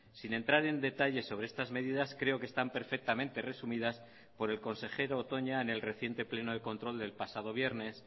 sin entrar en detalles sobre estas medidas creo que están perfectamente resumidas por el consejero toña en el reciente pleno de control del pasado viernes